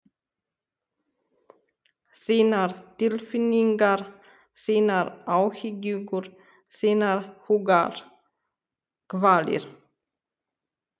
Þínar tilfinningar, þínar áhyggjur, þínar hugarkvalir.